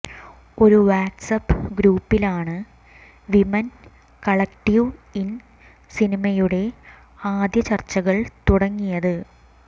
ഒരു വാട്സ്ആപ്പ് ഗ്രൂപ്പിലാണ് women collective in സിനിമയുടെ ആദ്യ ചർച്ചകൾ തുടങ്ങിയത്